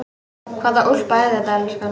Hvaða úlpa er þetta, elskan?